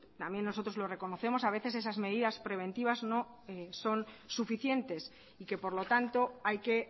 también nosotros lo reconocemos a veces esas medidas preventivas no son suficientes y que por lo tanto hay que